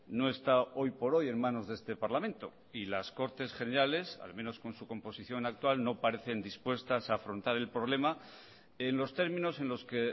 no está hoy por hoy en manos de este parlamento y las cortes generales al menos con su composición actual no parecen dispuestas a afrontar el problema en los términos en los que